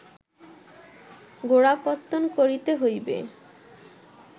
গোড়াপত্তন করিতে হইলে